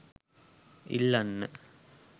ඉල්ලන්න